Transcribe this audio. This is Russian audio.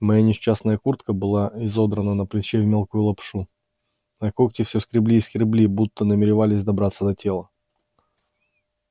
моя несчастная куртка была изодрана на плече в мелкую лапшу а когти всё скребли и скребли будто намеревались добраться до тела